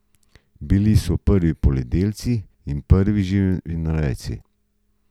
Bili so prvi poljedelci in prvi živinorejci.